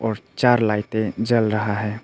चार लाइटें जल रहा है।